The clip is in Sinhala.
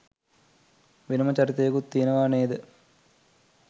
වෙනම චරිතයකුත් තියෙනවා නේද?